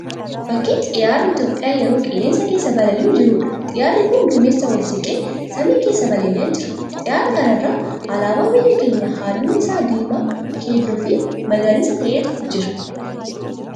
Fakkii xiyyaarri Itiyoopiyaa yeroo qilleensa keessa balali'aa jiruudha. Xiyyaarri kun duumeessaa ol siqee samii keessa balali'aa jira. Xiyyaara kana irra alaabaa biyya keenyaa halluun isaa diimaa, keelloo fi magariisa ta'eetu jira.